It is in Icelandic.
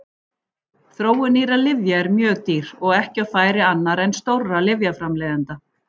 Þróun nýrra lyfja er mjög dýr og ekki á færi annarra en stórra lyfjaframleiðenda.